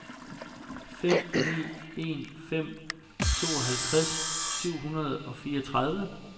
fem ni en fem tooghalvtreds syv hundrede og fireogtredive